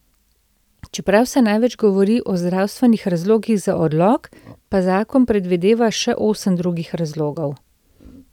Čeprav se največ govori o zdravstvenih razlogih za odlog, pa zakon predvideva še osem drugih razlogov.